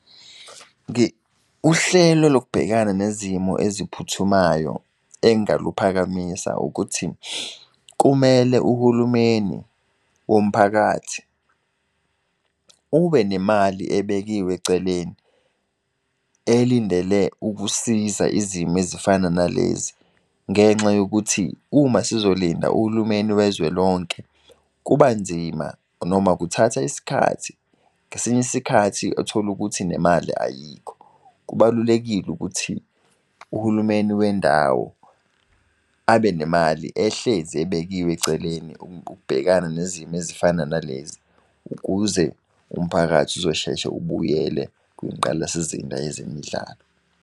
Uhlelo lokubhekana nezimo eziphuthumayo engaluphakamisa ukuthi, kumele uhulumeni womphakathi ubenemali ebekiwe eceleni elindele ukusiza izimo ezifana nalezi. Ngenxa yokuthi uma sizolinda uhulumeni wezwe lonke kubanzima noma kuthatha isikhathi, ngesinye isikhathi utholukuthi nemali ayikho. Kubalulekile ukuthi, uhulumeni wendawo abe nemali ehlezi ebekiwe eceleni ukubhekana nezimo ezifana nalezi, ukuze umphakathi uzosheshe ubuyele kwingqalasizinda yezemidlalo.